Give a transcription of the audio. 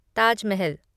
Taj Mahal